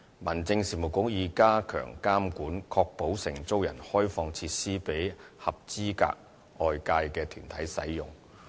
民政事務局已加強監管，確保承租人開放設施予合資格外界團體使用。